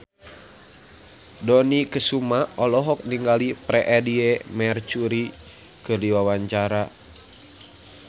Dony Kesuma olohok ningali Freedie Mercury keur diwawancara